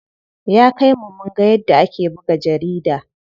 Ya kai mu munga yadda ake buga jarida.